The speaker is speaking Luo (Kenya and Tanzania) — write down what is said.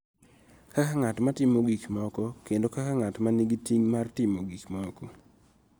Kaka ng�at ma timo gik moko kendo kaka ng�at ma nigi ting� mar timo gik moko